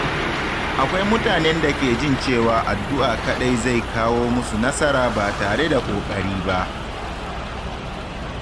Akwai mutanen da ke jin cewa addu’a kaɗai zai kawo musu nasara ba tare da ƙoƙari ba.